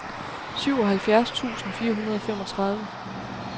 syvoghalvfjerds tusind fire hundrede og femogtredive